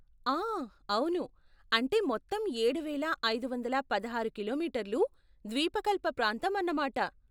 ఆ అవును! అంటే మొత్తం ఏడువేల ఐదు వందల పదహారు కిలోమీటర్లు ద్వీపకల్ప ప్రాంతం అన్నమాట.